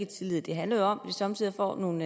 tillid det handler jo om at somme tider får nogle